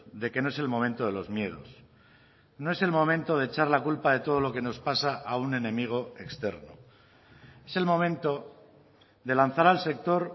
de que no es el momento de los miedos no es el momento de echar la culpa de todo lo que nos pasa a un enemigo externo es el momento de lanzar al sector